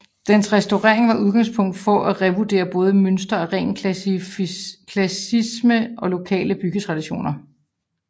Dens restaurering var udgangspunkt for at revurdere både mønstre af ren klassicisme og lokale byggetraditioner